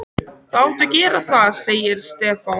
Þú átt að gera það, sagði Stefán.